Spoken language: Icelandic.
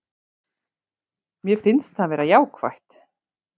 Mér finnst það vera jákvætt